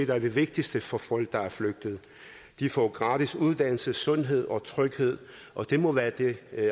der er det vigtigste for folk der er flygtet de får gratis uddannelse sundhed og tryghed og det må være det